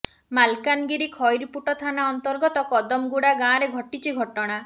ମାଲକାନଗିରି ଖଇରପୁଟ ଥାନା ଅନ୍ତର୍ଗତ କଦମଗୁଡା ଗାଁରେ ଘଟିଛି ଘଟଣା